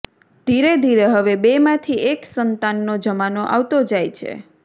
ધીરે ધીરે હવે બેમાંથી એક સંતાનનો જમાનો આવતો જાય છે